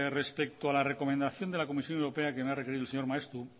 respecto a la recomendación de la comisión europea que me ha requerido el señor maeztu